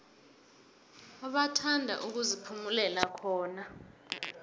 bathanda ukuziphumulela khona